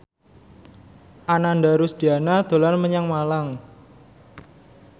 Ananda Rusdiana dolan menyang Malang